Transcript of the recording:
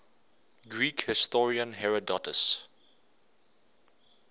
greek historian herodotus